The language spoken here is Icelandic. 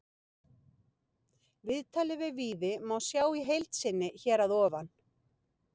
Viðtalið við Víði má sjá í heild sinni hér að ofan.